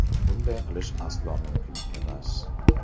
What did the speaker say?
Bunday qilish aslo mumkin emas.